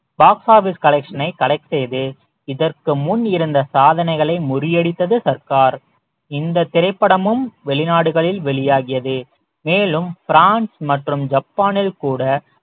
box office collection ஐ collect செய்து இதற்கு முன் இருந்த சாதனைகளை முறியடித்தது சர்க்கார் இந்த திரைப்படமும் வெளிநாடுகளில் வெளியாகியது மேலும் பிரான்சு மற்றும் ஜப்பானில் கூட